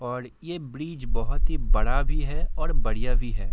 और ये ब्रिज बहुत ही बड़ा भी है और बढ़िया भी है।